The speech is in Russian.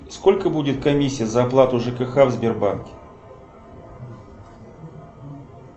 сколько будет комиссия за оплату жкх в сбербанке